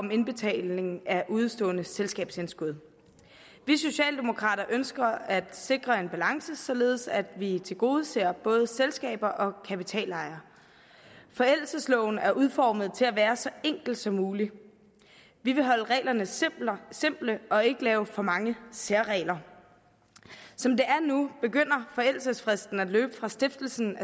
om indbetaling af udestående selskabsindskud vi socialdemokrater ønsker at sikre en balance således at vi tilgodeser både selskaber og kapitalejere forældelsesloven er udformet til at være så enkel som mulig vi vil holde reglerne simple simple og ikke lave for mange særregler som det er nu begynder forældelsesfristen at løbe fra stiftelsen